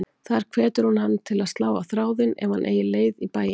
Þar hvetur hún hann til að slá á þráðinn ef hann eigi leið í bæinn.